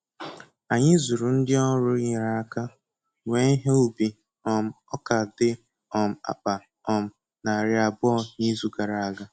Anyị zụrụ ndi ọrụ nyere aka wee ihe ubi um ọka di um akpa um narị abụọ n'izu gara aga.